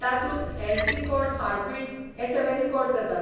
तातूंत health record heartbeat हें सगळें रिकोर्ड जाता.